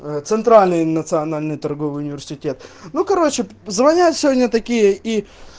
а центральный национальный торговый университет ну короче звонят сегодня такие и